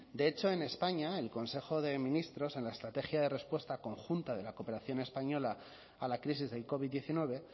de hecho en españa el consejo de ministros en la estrategia de respuesta conjunta de la cooperación española a la crisis del covid diecinueve